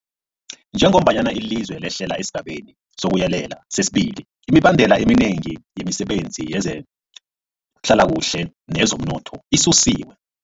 Njengombana ilizwe lehlela esiGabeni sokuYelela sesi-2, imibandela eminengi yemisebenzi yezehlalakuhle neyezomnotho isusiwe.